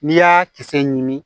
N'i y'a kisɛ ɲini